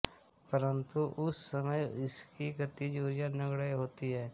परंतु उस समय इसकी गतिज उर्जा नगण्य होती है